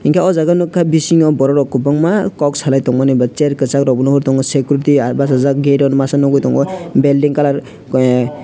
hingke o jaga nogkha bisingo borok rok kobangma kok salai tongmani ba chair kisag rok bo nogoi tango security basajak gate masa nogoitongo belding colour ah.